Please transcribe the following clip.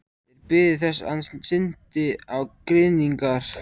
Þeir biðu þess hann synti á grynningar.